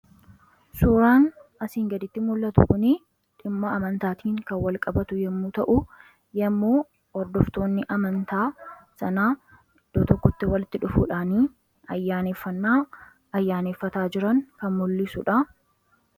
Suuraan asiin gaditti mul'atu kunii dhimma amantaatiin kan walqabatu yommuu ta'u yommuu hordoftoonni amantaa sanaa iddoo tokkotti walitti dhufuudhaan ayyaaneffannaa ayyaaneffataa jiran kan mul'isuudha